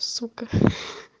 сука